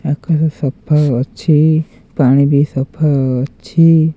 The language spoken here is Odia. ଆକାଶ ସଫା ଅଛି ପାଣି ବି ସଫା ଅଛି।